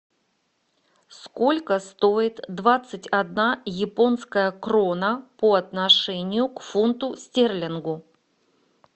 сколько стоит двадцать одна японская крона по отношению к фунту стерлингу